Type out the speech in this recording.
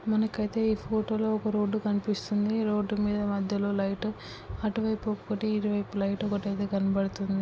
మనకైతే ఈ ఫోటో లో ఒక రోడ్డు కనిపిస్తుంది రోడ్డు మీద మధ్యలో లైట్ అటు వైపు ఒకటి ఇటువైపు లైట్ ఒకటైతే కనపడుతుంది.